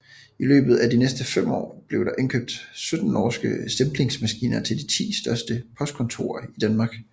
I løbet af de næste fem år blev der indkøbt 17 norske stemplingsmaskiner til de ti største postkontorer i Danmark